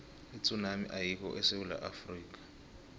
itsunami ayikho esewula afrika